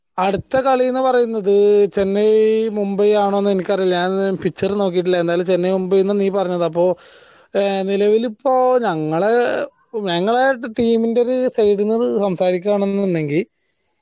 അടുത്ത കളി എന്ന പറയുന്നത് ചെന്നൈ മുംബൈ ആണോ എന്ന് എനിക്ക് അറീല ഞാൻ picture നോക്കീട്ടില്ല എന്നാലും ചെന്നൈ മുംബൈ എന്ന നീ പറഞ്ഞത് ആപ്പോ നിലവിൽ ഇപ്പോ ഞങ്ങൾ ഞങ്ങളാ team ന്റെ ഒരു side ന്നത് സംസാരിക്കയാണെങ്കിൽ